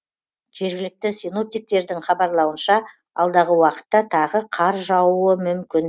жергілікті синоптиктердің хабарлауынша алдағы уақытта тағы қар жаууы мүмкін